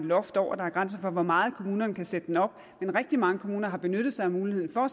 loft over der er grænser for hvor meget kommunerne kan sætte den op men rigtig mange kommuner har benyttet sig af muligheden for